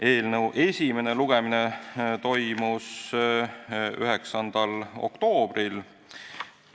Eelnõu esimene lugemine toimus 9. oktoobril.